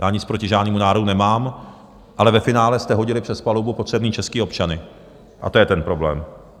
Já nic proti žádnému národu nemám, ale ve finále jste hodili přes palubu potřebné české občany a to je ten problém.